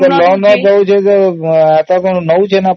ଋଣ ଦେଉଛି ଯେ କିଛି ନେଇ କି ଦଉଛି ନା